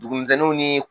Dugumisɛnninw ni